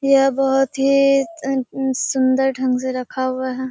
यह बहुत ही सुन्दर ढंग से रखा हुआ है।